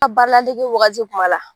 baaraladege wagati kuma la.